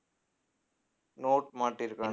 note மாட்டிருக்கானு~